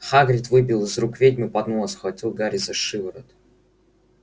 хагрид выбил из рук ведьмы поднос схватил гарри за шиворот